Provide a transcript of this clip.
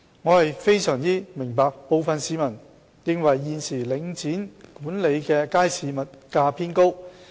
我非常明白部分市民認為現時領展管理的街市物價偏高。